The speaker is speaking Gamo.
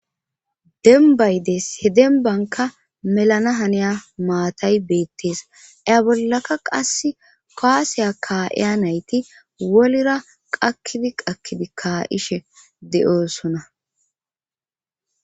denbay des he denbanka melana haniya maatay beettees aya bollaka qass koasiya kaa7iya nayti wolira qakkidi qakkidi ka ishe de7oosona